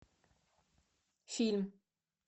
фильм